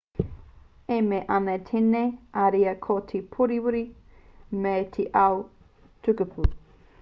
e mea ana tēnei ariā ko te pōuriuri mei te ao tukupū